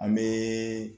An bɛ